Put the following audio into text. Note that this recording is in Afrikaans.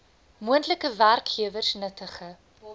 moontlike werkgewers nuttige